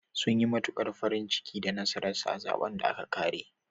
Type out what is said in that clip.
Sun yi matuƙar farin ciki da nasarar sa a zaɓen da aka ƙare.